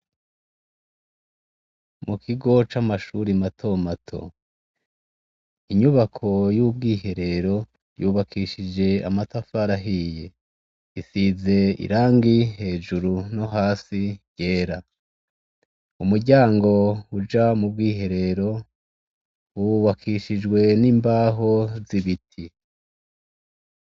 Mu kigo c'amashure matomato. Inyubako y'ubwiherero yubakishije amatafari ahiye. Isize irangi hejuru no hasi ryera. Umuryango uja mu bwiherero wubakishijwe n'imbaho z'ibiti.